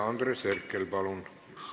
Andres Herkel, palun!